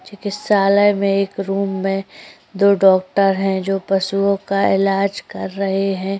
चिकित्सालय में एक रूम में दो डॉक्टर जो पशुवों का इलाज कर रहे हैं।